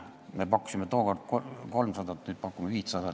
Meie pakkusime tookord 300 eurot, nüüd pakume 500.